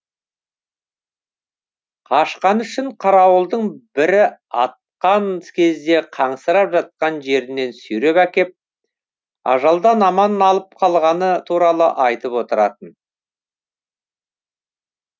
қашқаны үшін қарауылдың бірі атқан кезде қансырап жатқан жерінен сүйреп әкеп ажалдан аман алып қалғаны туралы айтып отыратын